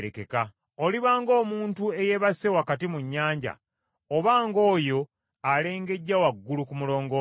Oliba ng’omuntu eyeebase wakati mu nnyanja, obanga oyo alengejjera waggulu ku mulongooti.